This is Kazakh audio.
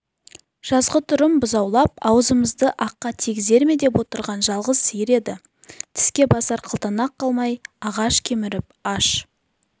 жазғытұрым бұзаулап аузымызды аққа тигізер ме деп отырған жалғыз сиыр еді тіске басар қылтанақ қалмай ағаш кеміріп аш